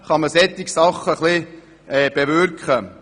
Es kann somit Einfluss genommen werden.